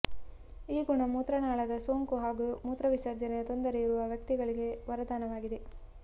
ಈ ಗುಣ ಮೂತ್ರನಾಳದ ಸೋಂಕು ಹಾಗೂ ಮೂತ್ರವಿಸರ್ಜನೆಯ ತೊಂದರೆ ಇರುವ ವ್ಯಕ್ತಿಗಳಿಗೆ ವರದಾನವಾಗಿದೆ